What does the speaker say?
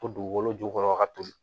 To dugukolo jukɔrɔ ka toli